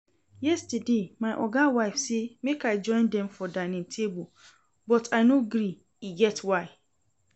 Yestersday my oga wife say make I join dem for dining table but I no gree, e get why